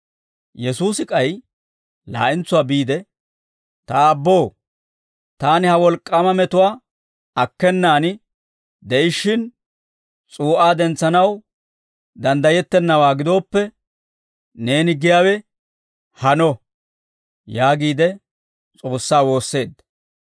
Yesuusi k'ay laa'entsuwaa biide, «Ta Aabboo, taani ha wolk'k'aama metuwaa akkenaan de'ishshin s'uu'aa dentsanaw danddayettenawaa gidooppe, neeni giyaawe hano» yaagiide S'oossaa woosseedda.